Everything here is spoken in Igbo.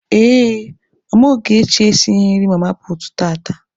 Ee, mama Ogechi esighị nri mama puutu tata.